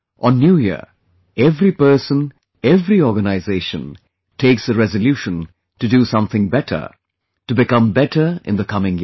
On New Year, every person, every organization, takes a resolution to do something better, to become better in the coming year